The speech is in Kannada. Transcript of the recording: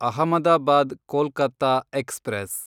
ಅಹಮದಾಬಾದ್ ಕೊಲ್ಕತ ಎಕ್ಸ್‌ಪ್ರೆಸ್